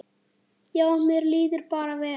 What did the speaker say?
Já, mér líður bara vel.